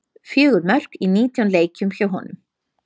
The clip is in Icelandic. Fjögur mörk í nítján leikjum hjá honum.